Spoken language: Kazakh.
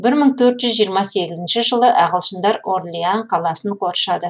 бір мың төрт жүз жиырма сегізінші жылы ағылшындар орлеан қаласын қоршады